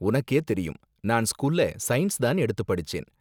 உனக்கே தெரியும், நான் ஸ்கூல்ல சயின்ஸ் தான் எடுத்து படிச்சேன்.